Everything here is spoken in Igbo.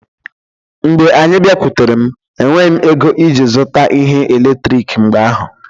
Mgbe anyị bịakwutere m, enweghị m ego iji zụta ihe eletrik mgbe ahụ